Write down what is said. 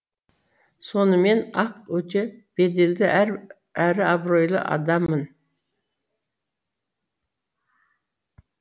соныммен ақ өте беделді әрі абыройлы адаммын